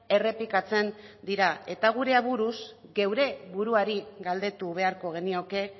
errepikatzen dira gure aburuz geure buruari galdetu beharko genioke